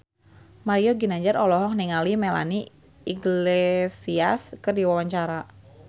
Mario Ginanjar olohok ningali Melanie Iglesias keur diwawancara